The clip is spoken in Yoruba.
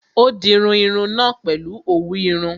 Ó dirun irun náà pèlu òwú irun